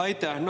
Aitäh!